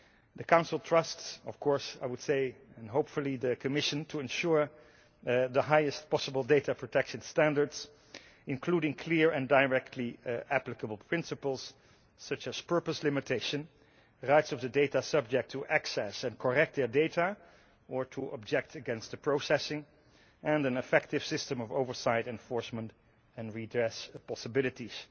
The Council trusts the Commission to ensure the highest possible data protection standards, including clear and directly applicable principles such as purpose limitation, rights of the data subject to access and correct their data or to object against the processing, and an effective system of oversight enforcement and redress of possibilities.